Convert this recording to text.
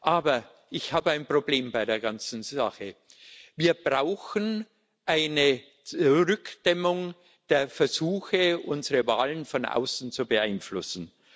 Aber ich habe ein Problem bei der ganzen Sache Wir brauchen eine Zurückdämmung der Versuche, unsere Wahlen von außen zu beeinflussen.